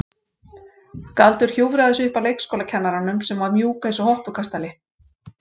Galdur hjúfraði sig upp að leikskólakennaranum sem var mjúk eins og hoppukastali.